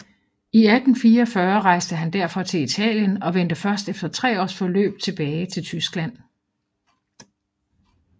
I 1844 rejste han derfor til Italien og vendte først efter 3 års forløb tilbage til Tyskland